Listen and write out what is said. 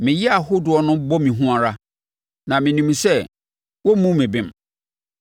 me yea ahodoɔ no bɔ me hu ara. Na menim sɛ, woremmu me bem.